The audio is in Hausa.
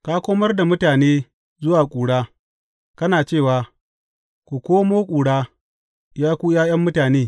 Ka komar da mutane zuwa ƙura, kana cewa, Ku koma ƙura, ya ku ’ya’yan mutane.